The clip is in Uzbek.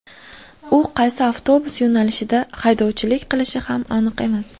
U qaysi avtobus yo‘nalishida haydovchilik qilishi ham aniq emas.